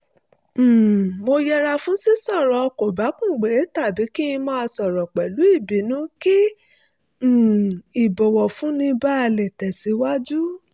um mo yẹra fún sísọ̀rọ̀ kòbákùngbé tàbí kí n máa sọ̀rọ̀ pẹ̀lú ìbínú kí um ìbọ̀wọ̀fúnni báa lè tẹ̀síwájú